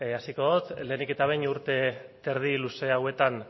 hasiko dut lehenik eta behin urte eta erdi luze hauetan